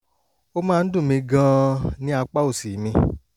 ó máa ń dùn mí gan-an ní apá òsì mi